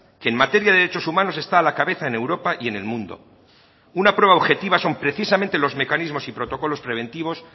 que en materia de derechos humanos está a la cabeza en europa y en el mundo una prueba objetiva son precisamente los mecanismos y protocolos preventivos